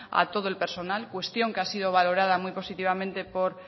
a todo el personal cuestión que ha sido valorada muy positivamente por